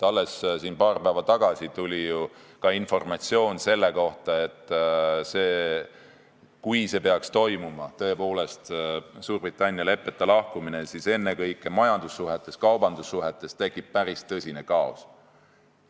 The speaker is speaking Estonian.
Alles paar päeva tagasi tuli ju ka informatsioon selle kohta, et kui see peaks tõepoolest toimuma, Suurbritannia leppeta lahkumine, siis ennekõike majandussuhetes ja kaubandussuhetes tekiks päris tõsine kaos.